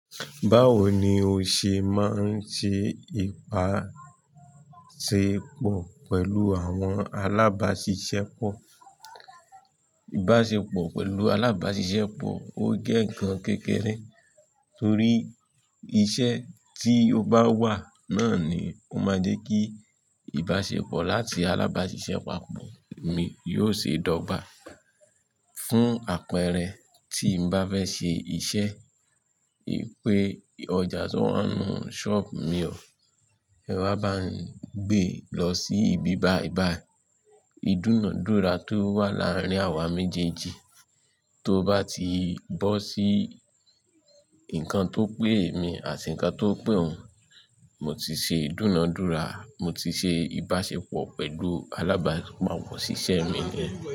Báwo ni o ṣe máa ń ṣe ìbáṣepọ̀ pẹ̀lú àwọn alábáṣiṣẹ́ pọ̀? Ìbáṣepọ̀ pẹ̀lú alábáṣiṣẹ́ pọ̀ ó jẹ́ nkàn kékeré torí iṣẹ́ tí ó bá wà náà ni ó máa jẹ́ kí ìbáṣepọ̀ láti alábáṣiṣẹ́ papọ̀ mi yóò ṣe dọ̀gbà. Fún àpẹẹrẹ, tí n bá fẹ́ ṣe iṣẹ́, pé ọjà tí wọ́n ń nu shop mi ọ, ẹ̀ wá bá ń gbé lọ sí ibí báyi bàyì, ìdúnàádúrà tó wà láàárín àwa méjèèjì tó bá ti bọ́ sí nǹkan tó pé mi àti nǹkan tó pé òun, mo ti ṣe ìdúnàádúrà, mo ti ṣe ìbáṣepọ̀ pẹ̀lú alábápapọ̀ òṣìṣẹ́ mi niyẹn.